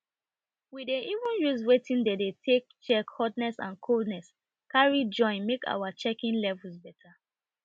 we dey even use wetin dey de take check hotness and coldness carry join make our checking levels better